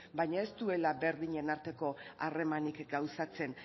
baina ez duela berdinen arteko harremanik gauzatzen